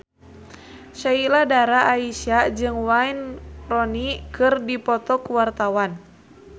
Sheila Dara Aisha jeung Wayne Rooney keur dipoto ku wartawan